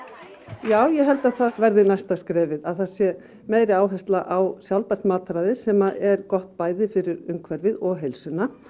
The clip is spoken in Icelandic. já ég held að það verði næsta skrefið að það sé meiri áhersla á sjálfbært mataræði sem er gott bæði fyrir umhverfið og heilsuna